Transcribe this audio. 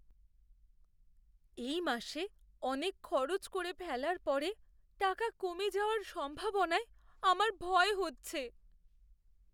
এই মাসে অনেক খরচ করে ফেলার পরে টাকা কমে যাওয়ার সম্ভাবনায় আমার ভয় হচ্ছে।